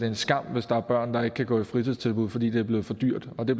en skam hvis der er børn der ikke kan gå i fritidstilbud fordi det er blevet for dyrt og det